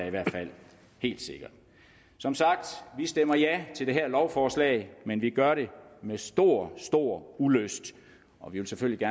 i hvert fald helt sikre som sagt vi stemmer ja til det lovforslag men vi gør det med stor stor ulyst og vi vil selvfølgelig